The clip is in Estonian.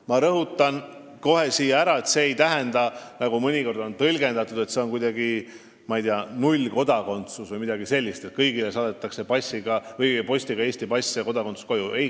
Ma rõhutan siin kohe ka, et see ei tähenda, nagu mõnikord on tõlgendatud, nullkodakondsust ega seda, et kõigile saadetakse postiga koju Eesti pass ja kodakondsus.